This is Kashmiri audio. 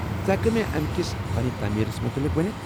ژٕ ہٮ۪ککھٕ مےٚ امہِ کس فنہ تعمیٖرس متعلق ؤنتھ؟